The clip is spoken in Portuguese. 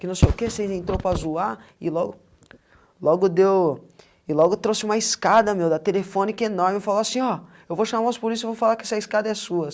que não sei o que, vocês entrou para zoar e logo... logo deu... e logo trouxe uma escada, meu, da telefone que é enorme, e falou assim, ó, eu vou chamar os polícia e vou falar que essa escada é sua.